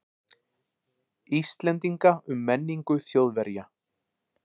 Íslendinga um menningu Þjóðverja.